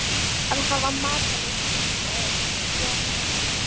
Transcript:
Að hafa matarlyst, hnussaði Jón Ármann.